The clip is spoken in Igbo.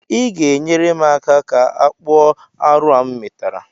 I ga-enyere m aka ka m kpụọ arụ a m metara?